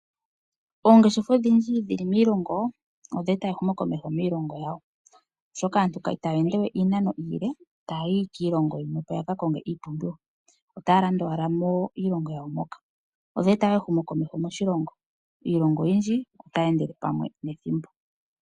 Oongeshefa odhindji dhili miilongo odheeta ehumo komeho miilongo yawo, oshoka aantu itaya ende we iinano iile taahi kiilongo yimwe oko yakakonge iipumbiwa yawo. Otaya landa owala miilongo yawo moka. Odheeta ehumo komeho moshilongo. Iilongo oyindji otayi endele pamwe nethimbo.